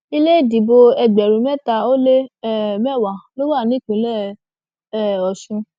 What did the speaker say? ilé ìdìbò ẹgbẹrún mẹta ó lé um mẹwàá ló wà nípìnlẹ um ọsùn